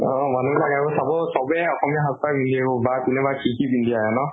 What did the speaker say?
অ মানুহ বিলাক আৰু চাব চবে অসমীয়া সাজ পাৰ পিন্ধি আহিব বা কোনে বা কি কি পিন্ধি আহে ন?